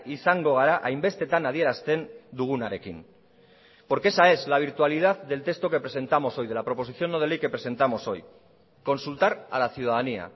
izango gara hainbestetan adierazten dugunarekin porque esa es la virtualidad del texto que presentamos hoy de la proposición no de ley que presentamos hoy consultar a la ciudadanía